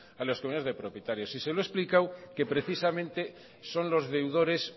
a las comunidades de propietarios y se lo he explicado que precisamente son los deudores